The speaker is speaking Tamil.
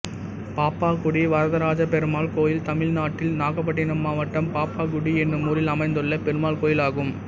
பாப்பாக்குடி வரதராஜபெருமாள் கோயில் தமிழ்நாட்டில் நாகப்பட்டினம் மாவட்டம் பாப்பாக்குடி என்னும் ஊரில் அமைந்துள்ள பெருமாள் கோயிலாகும்